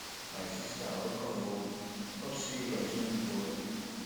my sista welcome o hope sey your journey go well